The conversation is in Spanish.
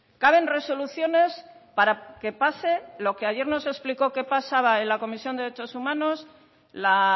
caben resoluciones para que pase lo que ayer nos explicó que pasaba en la comisión de derechos humanos la